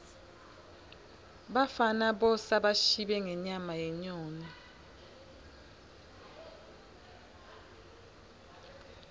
bafana bosa bashibe ngenyama yenyoni